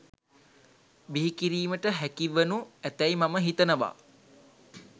බිහිකිරීමට හැකි වනු ඇතැයි මම හිතනවා.